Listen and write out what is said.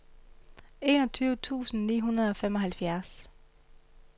enogtyve tusind ni hundrede og femoghalvfjerds